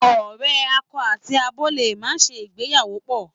Àwọn ọ̀rẹ́ akọ àti abo lè máa ṣe ìgbéyàwó pọ̀.